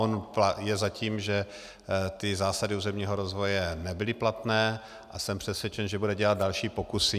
On je za tím, že ty zásady územního rozvoje nebyly platné, a jsem přesvědčen, že bude dělat další pokusy.